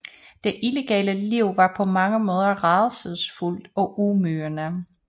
Det illegale liv var på mange måder rædselsfuldt og ydmygende